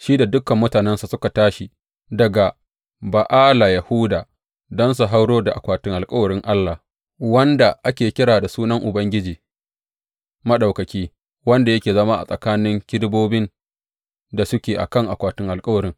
Shi, da dukan mutanensa suka tashi daga Ba’ala Yahuda don su hauro da akwatin alkawarin Allah, wanda ake kira da Sunan Ubangiji Maɗaukaki, wanda yake zama a tsakanin kerubobin da suke a kan akwatin alkawarin.